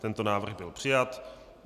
Tento návrh byl přijat.